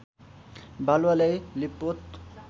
बालुवा ल्याई लिपपोत